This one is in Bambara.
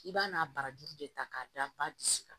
I b'a n'a barajuru de ta k'a da ba bisi kan